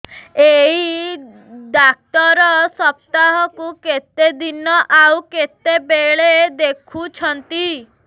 ଏଇ ଡ଼ାକ୍ତର ସପ୍ତାହକୁ କେତେଦିନ ଆଉ କେତେବେଳେ ଦେଖୁଛନ୍ତି